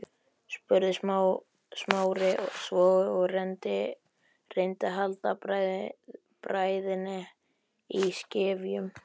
spurði Smári svo og reyndi að halda bræðinni í skefjum.